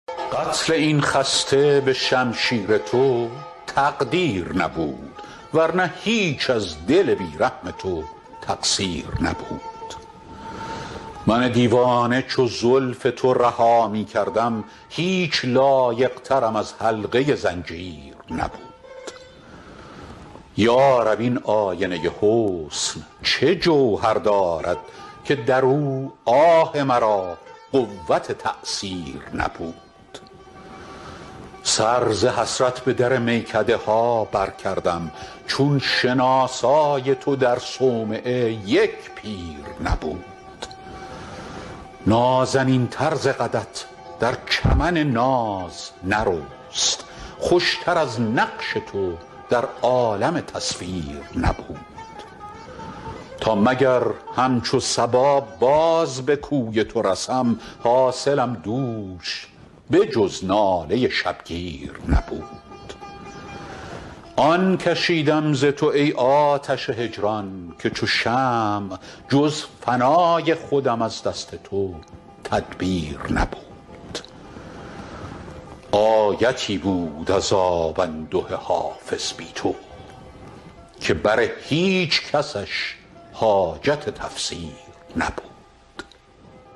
قتل این خسته به شمشیر تو تقدیر نبود ور نه هیچ از دل بی رحم تو تقصیر نبود من دیوانه چو زلف تو رها می کردم هیچ لایق ترم از حلقه زنجیر نبود یا رب این آینه حسن چه جوهر دارد که در او آه مرا قوت تأثیر نبود سر ز حسرت به در میکده ها برکردم چون شناسای تو در صومعه یک پیر نبود نازنین تر ز قدت در چمن ناز نرست خوش تر از نقش تو در عالم تصویر نبود تا مگر همچو صبا باز به کوی تو رسم حاصلم دوش به جز ناله شبگیر نبود آن کشیدم ز تو ای آتش هجران که چو شمع جز فنای خودم از دست تو تدبیر نبود آیتی بود عذاب انده حافظ بی تو که بر هیچ کسش حاجت تفسیر نبود